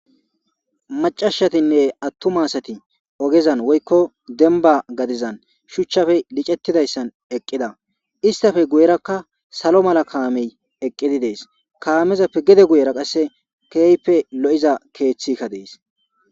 Macashatinne attu maasati ogezan woykko denba gadizan shuchchafe licettidayssan eqqida istafe guyerakka salo mala kaamey eqqidi dees kaameza pe gede guyera qasse keeype lo7iza keeththikka dees